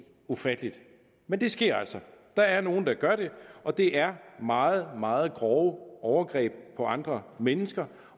ufatteligt men det sker altså der er nogle der gør det og det er meget meget grove overgreb på andre mennesker